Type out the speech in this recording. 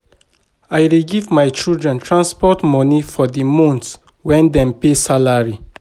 I dey give my children transport moni for di month wen dem pay salary.